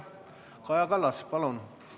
Kaja Kallas, palun!